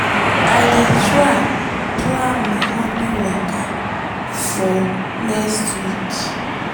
i dey try plan my hobby waka for next week.